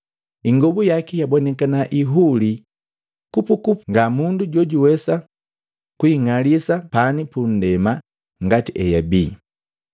Ingobu yaki yabonikana ihulii kupukupu nga mundu jojuwesa kuing'alisa pani pundema ngati eyabii.